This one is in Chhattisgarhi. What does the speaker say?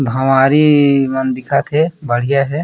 भवारी मन दिखत हे बढ़िया हे।